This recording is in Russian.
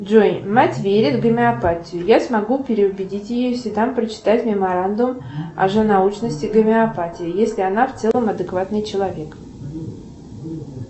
джой мать верит в гомеопатию я смогу переубедить ее если дам прочитать меморандум о лженаучности гомеопатии если она в целом адекватный человек